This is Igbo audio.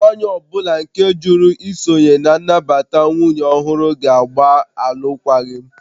Nwanyị ọ bụla nke jụrụ isonye na nnabata nwunye ọhụrụ ga-agba alụkwaghịm